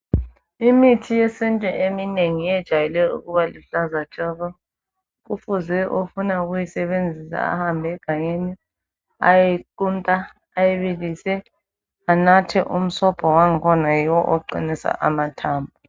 Imithi yesintu eminengi iyejayele ukuba luhlaza tshoko. Kufuze ofuna ukuyisebenzisa ahambe egangeni ayeyiqunta ayibilise anathe umsobho wangikhona yiwo oqinisa amathambo.